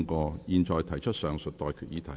我現在向各位提出上述待決議題。